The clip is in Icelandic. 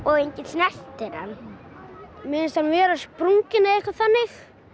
að enginn snerti hann mér finnst hann vera sprunginn eða eitthvað þannig